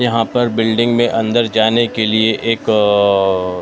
यहाँ पर बिल्डिंग में अंदर जाने के लिए एक अ --